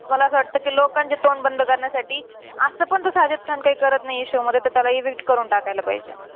मला असं वाटतं कि लोकांचे तोंड बंद करण्यासाठी असं पण तो साजिद खान काही करत नाहीये show मध्ये. तर त्याला evict करून टाकायला पाहिजे.